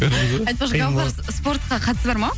айтпақшы гаухар спортқа қатысы бар ма